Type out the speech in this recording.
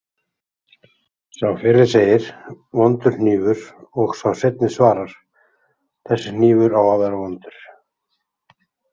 Sá fyrri segir: Vondur hnífur og sá seinni svarar: Þessi hnífur á að vera vondur